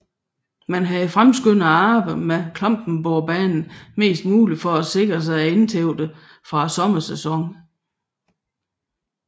Man havde fremskyndet arbejdet med Klampenborgbanen mest muligt for at sikre sig indtægterne fra sommersæsonen